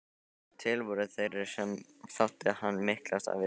Til voru þeir sem þótti hann miklast af visku sinni.